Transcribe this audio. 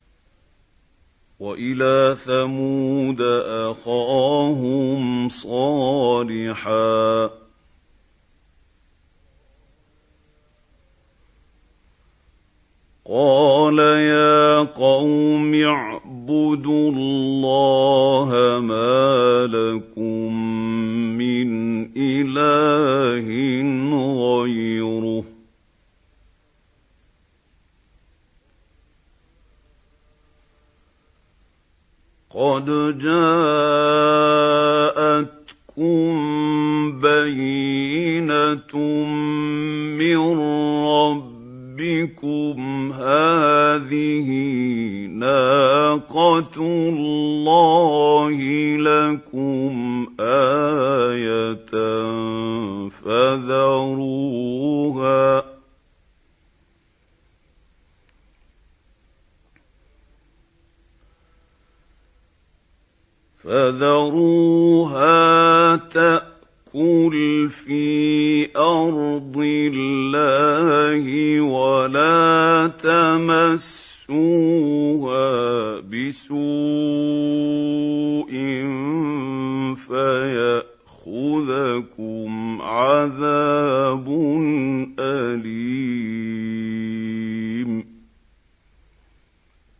وَإِلَىٰ ثَمُودَ أَخَاهُمْ صَالِحًا ۗ قَالَ يَا قَوْمِ اعْبُدُوا اللَّهَ مَا لَكُم مِّنْ إِلَٰهٍ غَيْرُهُ ۖ قَدْ جَاءَتْكُم بَيِّنَةٌ مِّن رَّبِّكُمْ ۖ هَٰذِهِ نَاقَةُ اللَّهِ لَكُمْ آيَةً ۖ فَذَرُوهَا تَأْكُلْ فِي أَرْضِ اللَّهِ ۖ وَلَا تَمَسُّوهَا بِسُوءٍ فَيَأْخُذَكُمْ عَذَابٌ أَلِيمٌ